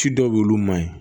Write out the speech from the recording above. Ci dɔw y'olu ma ye